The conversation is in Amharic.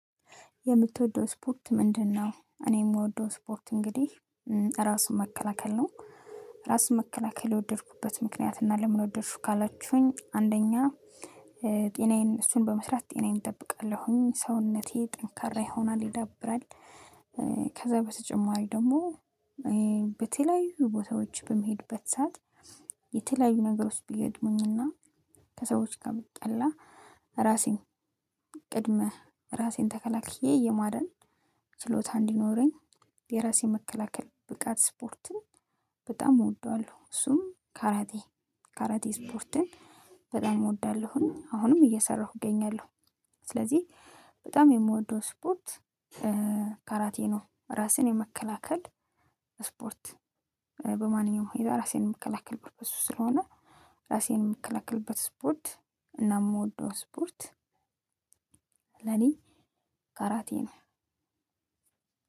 የምትወደው ስፖርት ምንድን ነው? እኔ የምወደው ስፖርት እንግዲህ ራስን መከላከል ነው። ራስን መከላከል የወደድኩበት ምክንያት እና ለምን ወደድሽው ካላችሁኝ አንደኛ ጤናዬን እሱን በመስራት ጤናዬን እጠብቃለሁኝ ሰውነቴ ጠንካራ ይሆናል ይዳብራል። ከዛ በተጨማሪ ደግሞ በተለያዩ ቦታዎች በምሄድበት ሰዓት የተለያዩ ነገሮች ቢገጥሙኝ እና ከሰዎች ጋር ብጣላ ራሴን ቅድመህ ራሴን ተከላክዬ የማዳን ችሎታ እንዲኖረኝ የራሴ መከላከል ብቃት ስፖርትን በጣም እወደዋለሁ። እሱም ካራቴ ካራቴ ስፖርትን በጣም እወዳለሁኝ አሁንም እየሰራሁ እገኛለሁ። ስለዚህ በጣም የምወደው ስፖርት ካራቴ ነው ራስን የመከላከል እስፖርት። በማንኛውም ሁኔታ ራሴን የምከላከልበት በሱ ስለሆነ ራሴን የምከላከልበት እስፖርት እና የምወደው እስፖርት ለኔ ካራቴ ነው።